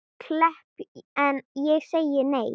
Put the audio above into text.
Klepp en ég sagði nei.